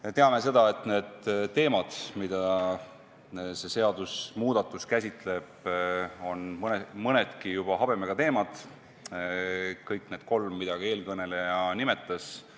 Me teame, et need teemad, mida see seadusemuudatus käsitleb, on nii mõnedki juba habemega – ka kõik need kolm, mida eelkõneleja nimetas.